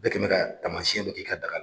Bɛɛ kɛ bɛ ka tamasiɲɛ dɔ k'i ka daga la.